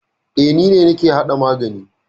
E, ni ne nake hada magani.